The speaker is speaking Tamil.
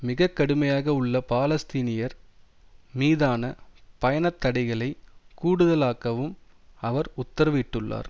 மிக கடுமையாக உள்ள பாலஸ்தீனியர் மீதான பயணத்தடைகளை கூடுதலாக்கவும் அவர் உத்தரவு இட்டுள்ளார்